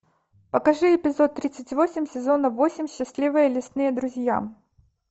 покажи эпизод тридцать восемь сезона восемь счастливые лесные друзья